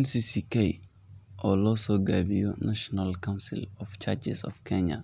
NCCK oo lo so gabiye National Council of Churches of Kenya